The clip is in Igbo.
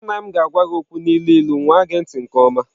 Nna m ga-agwa gị okwu n'ilu ilu nwaa gee ntị nke ọma.